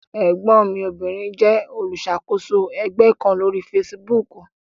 Ẹ̀gbọ́n mi obìnrin jẹ́ olùṣàkóso ẹgbẹ́ kan lórí fesibúùkù.